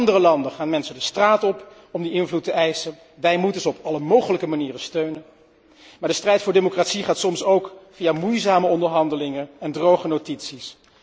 In andere landen gaan mensen de straat op om die invloed te eisen, wij moeten ze op alle mogelijke manieren steunen. Maar de strijd voor democratie gaat soms ook via moeizame onderhandelingen en droge notities.